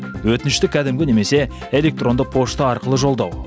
өтінішті кәдімгі немесе электронды пошта арқылы жолдау